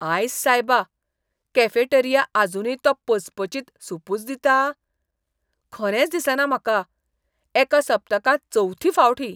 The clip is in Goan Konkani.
आयस सायबा, कॅफेटेरिया आजुनूय तो पचपचीत सूपुच दिता? खरेंच दिसना म्हाका. एका सप्तकांत चवथी फावट ही.